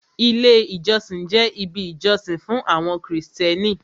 Ilé ìjọsìn jẹ́ ibi ìjọsìn fún àwọn krìstẹ́nì.